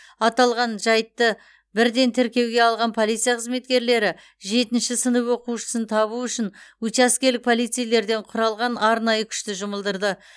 аталған жайтты бірден тіркеуге алған полиция қызметкерлері жетінші сынып оқушысын табу үшін учаскелік полицейлерден құралған арнайы күшті жұмылдырды